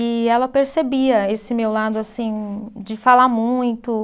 E ela percebia esse meu lado, assim, de falar muito.